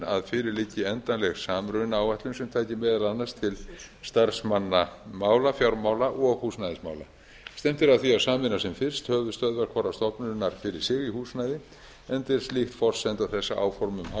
að fyrir liggi endanleg samrunaáætlun sem taki meðal annars til starfsmannamála fjármála og húsnæðismála stefnt er að því að sameina sem fyrst höfuðstöðvar hvorrar stofnunar fyrir sig í húsnæði enda er slíkt forsenda þess að áform